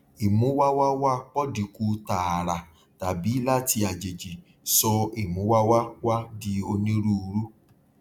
ìmúwáwáwá pọdi kù tààrà tàbí láti àjèjì sọ ìmúwáwáwá di onírúurú